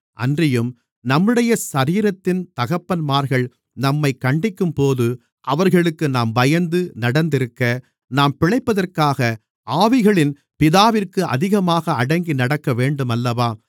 அன்றியும் நம்முடைய சரீரத்தின் தகப்பன்மார்கள் நம்மைக் கண்டிக்கும்போது அவர்களுக்கு நாம் பயந்து நடந்திருக்க நாம் பிழைப்பதற்காக ஆவிகளின் பிதாவிற்கு அதிகமாக அடங்கி நடக்கவேண்டுமல்லவா